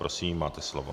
Prosím, máte slovo.